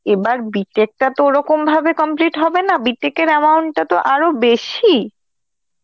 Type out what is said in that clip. এবার B.tech টা তো ওরকম ভাবে complete হবে না, B.tech এর amount টা তো আরো বেশি.